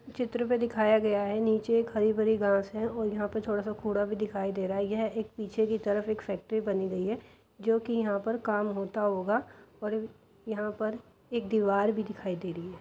चित्र में दिखाया गया है नीचे एक हरी भरी घास है और यहां पे थोड़ा सा कूड़ा भी दिखाई दे रहा है। यह एक पीछे की तरफ एक फैक्ट्री बनी गई है जोकि यहां पर काम होता होगा और यहां पर एक दीवार भी दिखाई दे रही है।